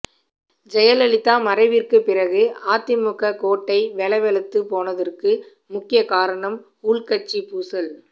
ஜெயலலிதா மறைவிற்குப் பிறகு அதிமுக கோட்டை வெலவெலத்துப் போனதற்கு முக்கிய காரணம் உள்கட்சிப் பூசல்